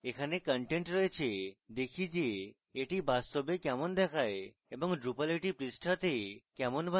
এখানে content রয়েছে দেখি যে এটি বাস্তবে কেমন দেখায় এবং drupal এটি পৃষ্ঠাতে কেমন বানায়